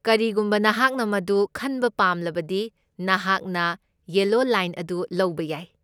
ꯀꯔꯤꯒꯨꯝꯕ ꯅꯍꯥꯛꯅ ꯃꯗꯨ ꯈꯟꯕ ꯄꯥꯝꯂꯕꯗꯤ, ꯅꯍꯥꯛꯅ ꯌꯦꯂꯣ ꯂꯥꯏꯟ ꯑꯗꯨ ꯂꯧꯕ ꯌꯥꯏ꯫